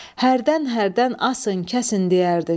Hərdən-hərdən asın, kəsin deyərdin.